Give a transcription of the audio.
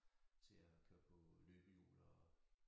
Til at køre på løbehjul og